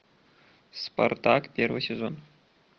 спартак первый сезон